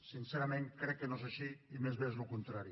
sincerament crec que no és així i més aviat és el contrari